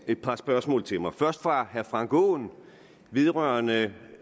et par spørgsmål til mig først fra herre frank aaen vedrørende